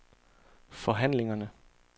forhandlingerne